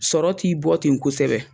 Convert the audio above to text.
Sɔrɔ t'i bɔ ten kosɛbɛ.